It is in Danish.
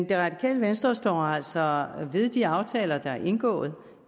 det radikale venstre står altså ved de aftaler der er indgået